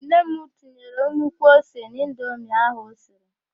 Nne m tinyere nnukwu ose n'indomi ahụ osiri.